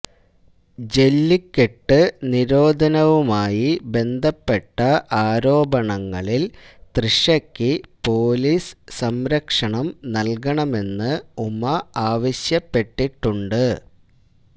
ജെല്ലിക്കെട്ട് നിരോധനവുമായി ബന്ധപ്പെട്ട ആരോപണങ്ങളില് തൃഷയ്ക്ക് പോലീസ് സംരക്ഷണം നല്കണമെന്ന് ഉമ ആവശ്യപ്പെട്ടിട്ടുണ്ട്